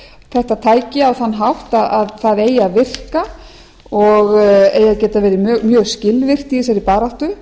þetta tæki á þann hátt að það eigi að virka og eigi að geta verið mjög skilvirkt í þessari baráttu